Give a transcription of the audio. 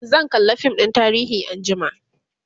zan kalla fim ɗin tarihi anjima